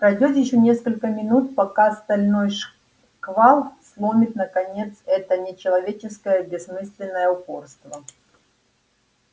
пройдёт ещё несколько минут пока стальной шквал сломит наконец это нечеловеческое бессмысленное упорство